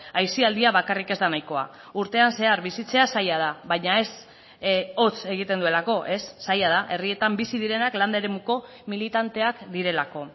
aisialdia bakarrik ez da nahikoa urtean zehar bizitzea zaila da baina ez hotz egiten duelako ez zaila da herrietan bizi direnak landa eremuko militanteak direlako